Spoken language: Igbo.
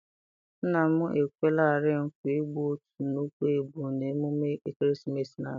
Nna m ekwelarị nkwa igbu otu nnukwu ebu n'ememme ekeresimesi na-abịa.